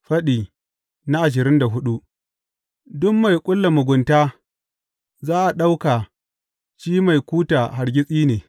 Faɗi ashirin da hudu Duk mai ƙulla mugunta za a ɗauka shi mai kuta hargitsi ne.